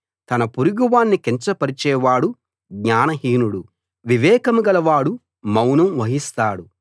తన పొరుగువాణ్ణి కించపరిచేవాడు జ్ఞానహీనుడు వివేకం గల వాడు మౌనం వహిస్తాడు